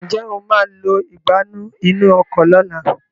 njé o má lọ Ìgbánú inú ọkọ̀ lọ̀la?